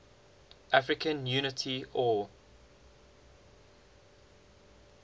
african unity oau